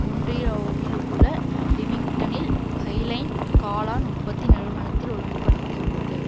ஒன்டாரியோவிலுள்ள லீமிங்டனில் ஹைலைன் காளாண் உற்பத்தி நிறுவனத்தில் ஒழுங்குபடுத்தியுள்ளது